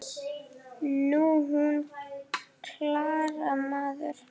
Nú, hún Klara, maður!